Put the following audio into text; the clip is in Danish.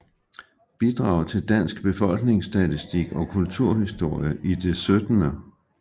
Bidrag til Dansk Befolkningsstatistik og Kulturhistorie i det 17